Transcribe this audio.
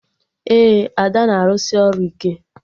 Ee, Ada na-arụsị ọrụ ike